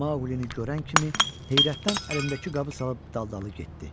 Maqlini görən kimi heyrətdən əlindəki qabı salıb daldalı getdi.